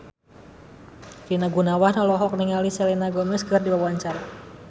Rina Gunawan olohok ningali Selena Gomez keur diwawancara